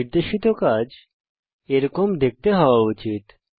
নির্দেশিত কাজ এরকম দেখতে হওয়া উচিত